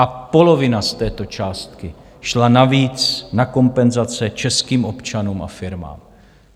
A polovina z této částky šla navíc na kompenzace českým občanům a firmám.